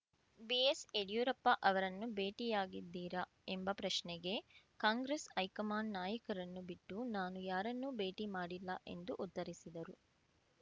ಬಿಎಸ್‌ಯಡಿಯೂರಪ್ಪ ಅವರನ್ನು ಭೇಟಿಯಾಗಿದ್ದೀರಾ ಎಂಬ ಪ್ರಶ್ನೆಗೆ ಕಾಂಗ್ರೆಸ್‌ ಹೈಕಮಾಂಡ್‌ ನಾಯಕರನ್ನು ಬಿಟ್ಟು ನಾನು ಯಾರನ್ನೂ ಭೇಟಿ ಮಾಡಿಲ್ಲ ಎಂದು ಉತ್ತರಿಸಿದರು